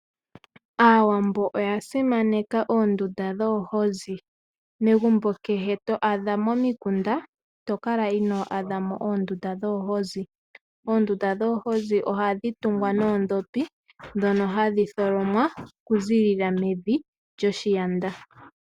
Aawambo oya simaneka oondunda dhoohozi. Megumbo kehe to a dha momikunda i to kala inoo a dha mo oondunda dhoohozi. Oondunda dhoohozi ohadhi tungwa noodhopi dhono hadhi tholomwa oku ziilila mevi lyo shiyanda.